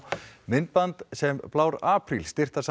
myndband sem blár apríl